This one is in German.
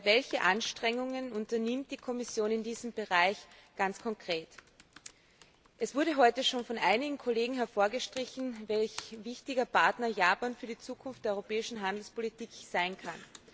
welche Anstrengungen unternimmt die Kommission in diesem Bereich ganz konkret? Es wurde heute schon von einigen Kollegen hervorgehoben, welch wichtiger Partner Japan für die Zukunft der europäischen Handelspolitik sein kann.